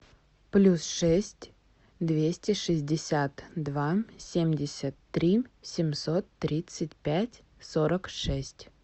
плюс шесть двести шестьдесят два семьдесят три семьсот тридцать пять сорок шесть